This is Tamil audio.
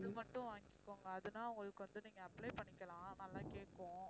மட்டும் வாங்கிக்கோங்க அதுதான் உங்களுக்கு வந்து நீங்க apply பண்ணிக்கலாம் நல்லா கேக்கும்